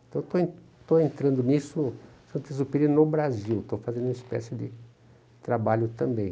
Então estou entrando nisso Saint-Exupéry no Brasil, estou fazendo uma espécie de trabalho também.